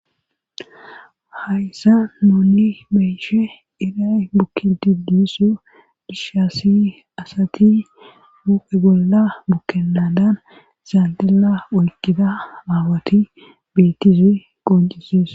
hayssa noonni meyishe iray bukki didisso dushassi asati mue bolla bukkennadan zaandila oyqida aawati bettize qoncisees